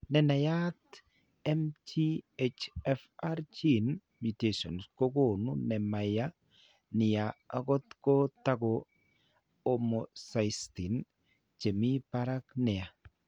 Ne naat MTHFR gene mutations kokonu ne ma yaa nia, akot ko taku, homocysteine che mi parak nia.